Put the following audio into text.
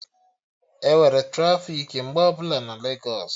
Enwere trafiki mgbe ọbụla na Legos